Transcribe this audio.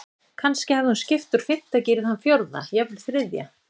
Kannski hafði hún skipt úr fimmta gír í þann fjórða, jafnvel þriðja.